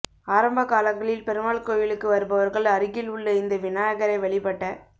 ஆரம்ப காலங்களில் பெருமாள் கோயிலுக்கு வருபவா்கள் அருகில் உள்ள இந்த விநாயகரை வழிபட்ட